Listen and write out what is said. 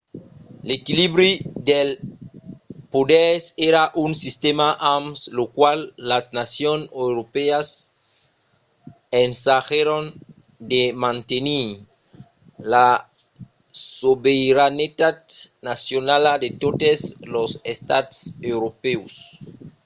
l'equilibri dels poders èra un sistèma amb lo qual las nacions europèas ensagèron de mantenir la sobeiranetat nacionala de totes los estats europèus